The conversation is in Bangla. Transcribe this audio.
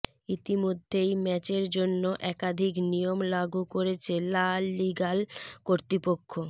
ইতিমধ্যেই ম্যাচের জন্য একাধিক নিয়ম লাগু করেছে লা লিগা ল কর্তৃপক্ষ